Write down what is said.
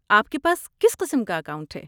آپ کے پاس کس قسم کا اکاؤنٹ ہے۔